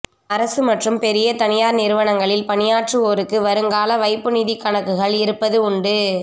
அரசு மற்றும் பெரிய தனியார் நிறுவனங்களில் பணியாற்றுவோருக்கு வருங்கால வைப்பு நிதிக்கணக்குகள் இருப்பது உண்டு